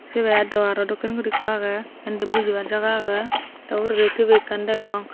sibe dowa ro dokken guri ikko agey indi bujibar jaga agey tay uguredi TV ekkan degong.